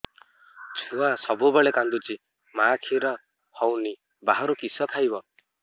ଛୁଆ ସବୁବେଳେ କାନ୍ଦୁଚି ମା ଖିର ହଉନି ବାହାରୁ କିଷ ଖାଇବ